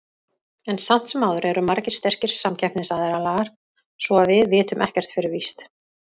En samt sem áður eru margir sterkir samkeppnisaðilar, svo að við vitum ekkert fyrir víst.